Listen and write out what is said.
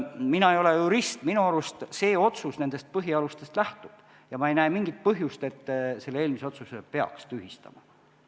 Mina ei ole jurist, minu arust see otsus nendest põhialustest lähtub ja ma ei näe mingit põhjust, et selle eelmise otsuse peaks tühistama.